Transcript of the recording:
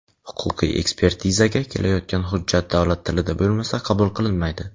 huquqiy ekspertizaga kelayotgan hujjat davlat tilida bo‘lmasa qabul qilinmaydi.